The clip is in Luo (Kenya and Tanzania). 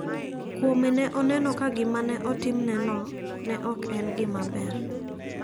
Kuome ne oneno ka gima ne otimneno ne ok en gima ber.